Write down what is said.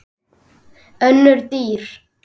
Önnur dýr